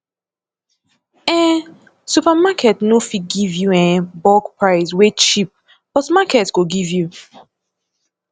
um supermarket no fit give yu um bulk price wey cheap but market go give yu